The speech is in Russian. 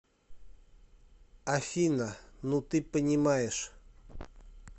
афина ну ты понимаешь